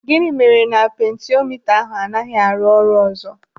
Gịnị mere na pentiomita ahụ anaghị arụ ọrụ ọzọ?